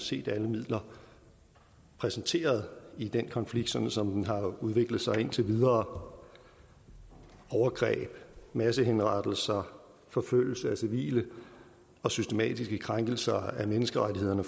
set alle midler præsenteret i den konflikt sådan som den har udviklet sig indtil videre overgreb massehenrettelser forfølgelse af civile og systematiske krænkelser af menneskerettighederne